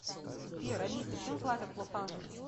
сбер алиса чем платят в лос анджелесе